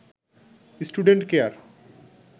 student care